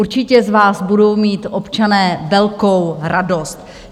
Určitě z vás budou mít občané velkou radost!